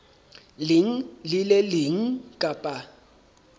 leng le le leng kapa